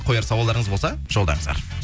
қояр сауалдарыңыз болса жолдаңыздар